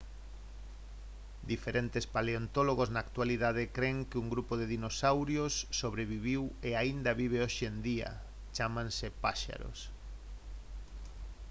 diferentes paleontólogos na actualidade cren que un grupo de dinosauros sobreviviu e aínda vive hoxe en día chámanse paxaros